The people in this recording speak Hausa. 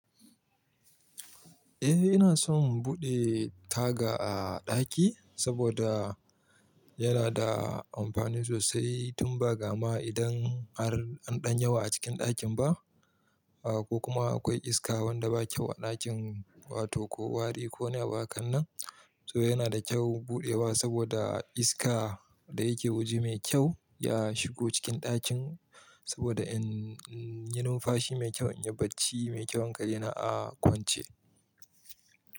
Eh, ina son buɗe taga a ɗaki saboda yana da amfani sosai tun ba gama idan har an ɗan yawa a cikin ɗakin ba, ah ko kuma akwai iska wanda ba kyau a ɗakin wato ko wari ko ne hakan nan. To yana da kyau buɗewa saboda iska da yake waje mai kyau ya shigo cikin ɗakin saboda in yi numfashi mai kyau, in yi barci mai kyau hankali na a kwance.